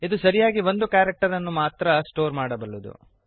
ಇದು ಸರಿಯಾಗಿ ಒಂದು ಕ್ಯಾರಕ್ಟರನ್ನು ಮಾತ್ರ ಸ್ಟೋರ್ ಮಾಡಬಲ್ಲದು